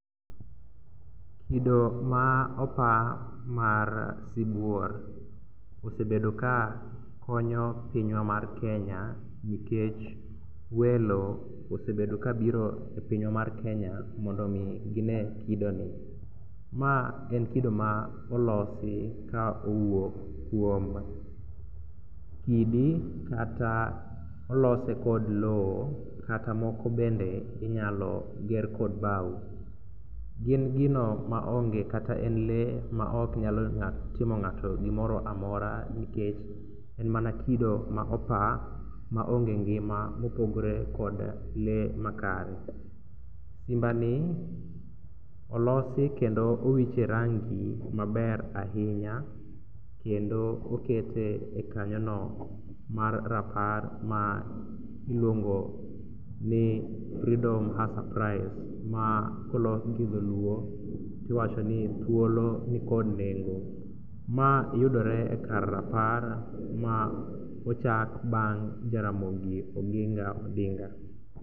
Kido ma opa mar sibuor osebedo ka konyo pinywa mar Kenya nikech welo osebedo kabiro e pinywa mar Kenya mondo omi gine kidoni. Ma en kido ma olosi ka owuok kuom kidi kata olose kod lowo kata moko bende inyalo ger kod bao. Gin gino maonge kata en lee maok nyal timo ng'ato gimoroamora nikech en mana kido ma opa maonge ngima mopogre kod lee makare. Simbani olosi kendo owiche rangi maber ahinya kendo okete e kanyono mar rapar ma iluongo ni freedom has a price ma kolok gi dholuo tiwacho ni thuolo nikod nengo. Ma yudore kar rapar ma ochak bang' Jaramogi Oginga Odinga.